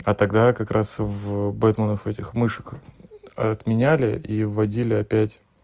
а тогда как раз в бэтменов этих мышек отменяли и вводили опять